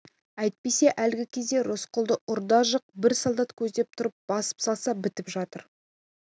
әйтпесе әлгі кезде рысқұлды ұрда-жық бір солдат көздеп тұрып басып салса бітіп жатыр